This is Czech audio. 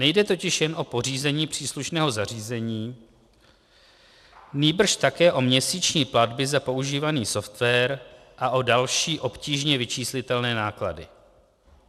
Nejde totiž jen o pořízení příslušného zařízení, nýbrž také o měsíční platby za používaný software a o další obtížně vyčíslitelné náklady.